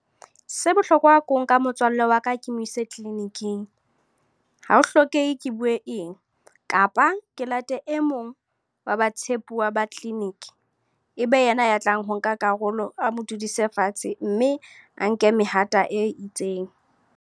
Se bohlokwa ke ho nka motswalle wa ka, ke mo ise clinic-ing. Ha ho hlokehe, ke bue eng. Kapa ke late e mong wa ba tshepuwa ba clinic. E be yena ya tlang ho nka karolo a mo dudise fatshe, mme a nke mehato e itseng.